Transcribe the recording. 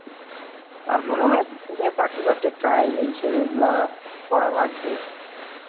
তারপরেও এক ইচ্ছা যে চাকরি বাকরির try এই সেই এইগুলা করা লাগবে।